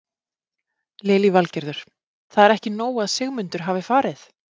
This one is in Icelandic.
Lillý Valgerður: Það er ekki nóg að Sigmundur hafi farið?